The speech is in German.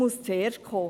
Es zuerst kommen.